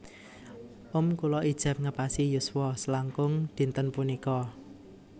Om kula ijab ngepasi yuswa selangkung dinten punika